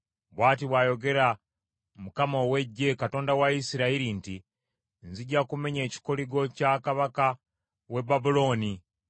“Bw’ati bw’ayogera Mukama ow’Eggye, Katonda wa Isirayiri nti, ‘Nzija kumenya ekikoligo kya kabaka w’e Babulooni.